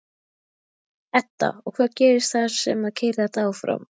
Edda: Og hvað gerist þar sem að keyrir þetta áfram?